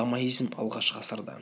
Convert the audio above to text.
ламаизм алғаш ғасырда